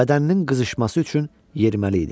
Bədəninin qızışması üçün yeriməli idi.